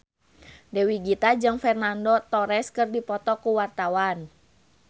Dewi Gita jeung Fernando Torres keur dipoto ku wartawan